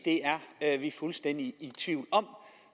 det er vi fuldstændig i tvivl om